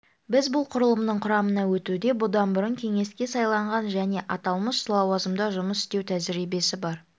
біз бұл құрылымның құрамына өтуде бұдан бұрын кеңеске сайланған және аталмыш лауазымда жұмыс істеу тәжірибесі бар